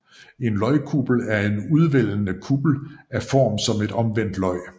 En løgkuppel er en udvældende kuppel af form som et omvendt løg